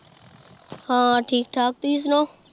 ਹਾਂ ਠੀਕ ਠਾਕ ਤੁਸੀ ਸੁਣਾਓ